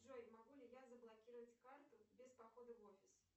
джой могу ли я заблокировать карту без похода в офис